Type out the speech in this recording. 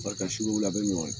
Bali ka sugu wuli a bɛ ɲɔgɔya.